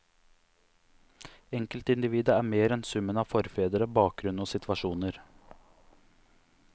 Enkeltindividet er mer enn summen av forfedre, bakgrunn og situasjoner.